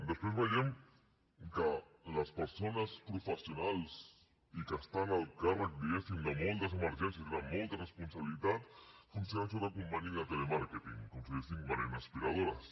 després veiem que les persones professionals i que estan al càrrec diguéssim de moltes emergències i tenen moltes responsabilitats funcionen sota conveni de telemàrqueting com si diguéssim venent aspiradores